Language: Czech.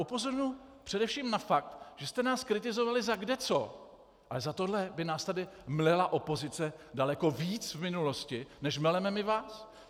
Upozorňuji především na fakt, že jste nás kritizovali za kdeco, ale za tohle by nás tady mlela opozice daleko víc v minulosti, než meleme my vás.